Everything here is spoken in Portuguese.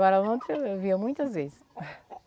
Agora, a lontra eu via muitas vezes.